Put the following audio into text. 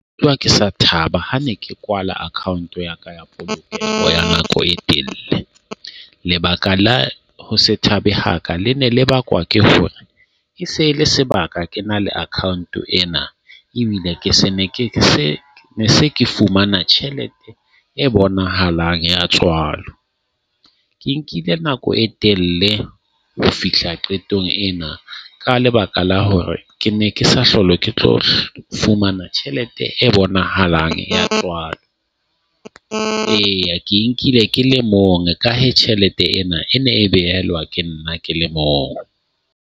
Utlwa ke sa thaba, ha ne ke kwala account ya ka polokeho ya nako e telle . Lebaka la ho se thabe haka le ne le bakwa ke hore ke se le sebak, ke na le account ena ebile ke se ne ke se se ke fumana tjhelete e bonahalang ya tswalo. Ke nkile nako e telle ho fihla qetong ena ka lebaka la hore ke ne ke sa hlolwe ke tlohle fumana tjhelete e bonahalang ya tswalo. Eya, ke nkile ke le mong e ka hee tjhelete ena e ne e ke nna ke le mong.